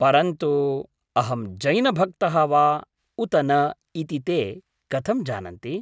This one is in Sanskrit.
परन्तु अहं जैनभक्तः वा उत न इति ते कथं जानन्ति?